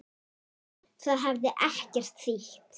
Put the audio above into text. Það hefði ekkert þýtt.